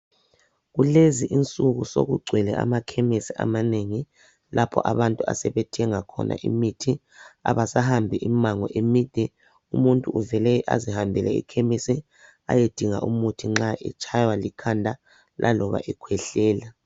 Kulezi insuku sokugcwele amakhemisi amanengi lapho abantu asebethenga khona imithi. Abasahambi imimango emide umuntu uvele azihambele ekhemisi ayedinga umuthi nxa etshaywa likhanda laloba nxa ekhwehlela.